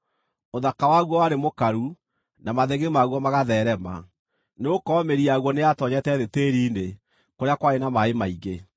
Ũthaka waguo warĩ mũkaru, na mathĩgĩ maguo magatheerema, nĩgũkorwo mĩri yaguo nĩyatoonyete thĩ tĩĩri-inĩ kũrĩa kwarĩ na maaĩ maingĩ.